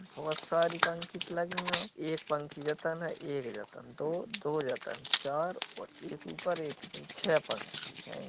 बोहोत सारी पंखीत लगी हों | एक पंखी ज तन ए एक ज तन दो दो ज तन चार और एक ऊपर एक निचे छह पंखी हैं ।